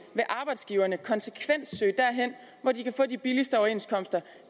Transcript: vil arbejdsgiverne konsekvent søge derhen hvor de kan få de billigste overenskomster